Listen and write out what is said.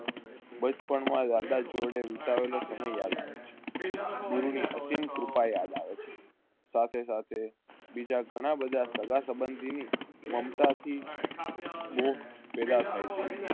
બચપણ માં યાદાસ જોડે વિતાવેલો સમય યાદ આવે છે. ગુરૂની અસીમકરૂપા યાદ આવે છે સાથે~સાથે બીજા ધણા બધા સાગા સબન્ધીની મમતાથી બોહ પેદા થાય છે.